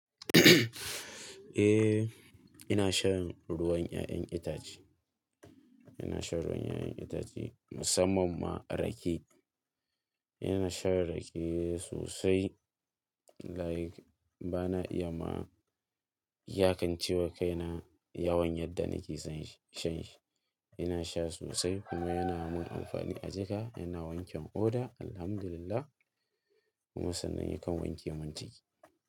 Eh, ina shan ruwan ƴa'ƴan itace. Ina shan ruwan ƴa'ƴan itace musamman ma rake. Ina shan rake sosai, like bana iya ma yakancewa kaina yawan yadda nake son sha shi. Ina sha sosai kuma yana mun amfani a jika, yana wanke oda Alhamdulillah. Kuma sannan yakan wanke mun jiki.